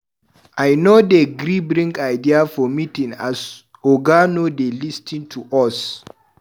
I no dey gree bring ideas for meeting as oga no dey lis ten to us.